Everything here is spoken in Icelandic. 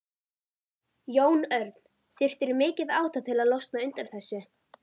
Jón Örn: Þurftirðu mikið átak til að losna undan þessu?